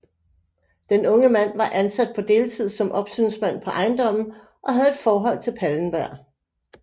Den unge mand var ansat på deltid som opsynsmand på ejendommen og havde et forhold til Pallenberg